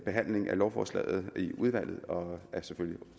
behandlingen af lovforslaget i udvalget og er selvfølgelig